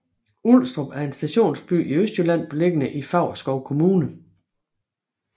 Ulstrup er en stationsby i Østjylland beliggende i Favrskov Kommune